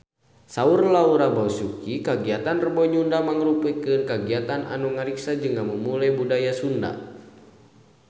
Saur Laura Basuki kagiatan Rebo Nyunda mangrupikeun kagiatan anu ngariksa jeung ngamumule budaya Sunda